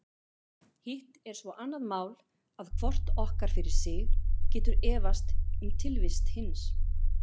Hitt er svo annað mál að hvort okkar fyrir sig getur efast um tilvist hins.